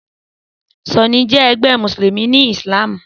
Súnì jẹ ẹgbẹ́ mùsùlùmí ni ìsìlámù.